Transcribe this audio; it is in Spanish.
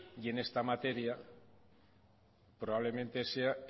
y en esta materia probablemente sea